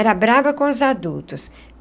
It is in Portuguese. Era brava com os adultos.